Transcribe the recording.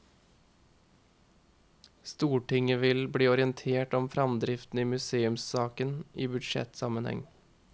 Stortinget vil bli orientert om fremdriften i museumssaken i budsjettsammenheng.